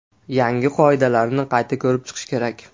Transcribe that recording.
Yangi qoidalarni qayta ko‘rib chiqish kerak.